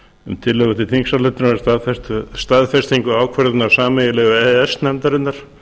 um tillögu til þingsályktunar um staðfestingu ákvörðunar sameiginlegu e e s nefndarinnar